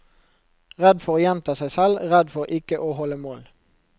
Redd for å gjenta seg selv, redd for ikke å holde mål.